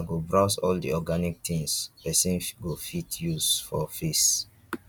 i go browse all the organic things person go fit use for face